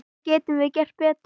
Hvað getum við gert betur?